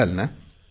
सांगाल ना